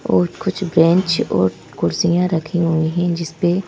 और कुछ बेंच और कुर्सियां रखी हुई है जिस पे--